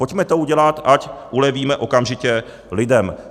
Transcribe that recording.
Pojďme to udělat, ať ulevíme okamžitě lidem.